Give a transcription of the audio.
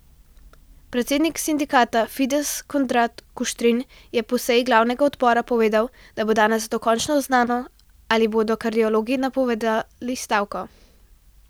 Predsednik sindikata Fides Konrad Kuštrin je po seji glavnega odbora povedal, da bo danes dokončno znano, ali bodo kardiologi napovedali stavko.